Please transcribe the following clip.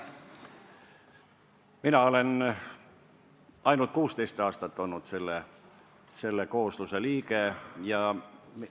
Mina olen ainult 16 aastat selle koosluse liige olnud.